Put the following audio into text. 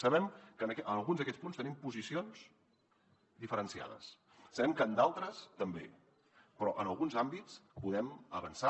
sabem que en alguns d’aquests punts tenim posicions diferenciades sabem que en d’altres també però en alguns àmbits podem avançar